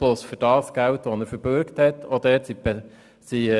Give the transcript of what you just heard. Dies ist auch der Antwort der Regierung zu entnehmen.